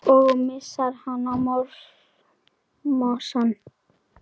Og missir hana í mosann.